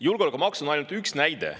Julgeolekumaks on ainult üks näide.